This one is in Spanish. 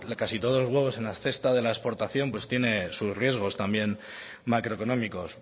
casi todos los huevos en la cesta de la exportación pues tiene sus riesgos también macroeconómicos